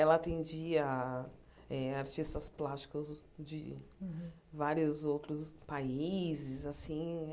Ela atendia eh artistas plásticos de vários outros países assim.